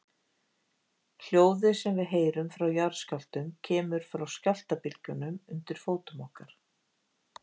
Hljóðið sem við heyrum frá jarðskjálftum kemur frá skjálftabylgjunum undir fótum okkar.